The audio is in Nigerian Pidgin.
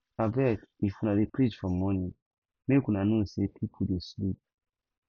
abeg if una dey preach for morning make una know sey pipo dey sleep